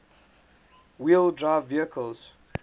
wheel drive vehicles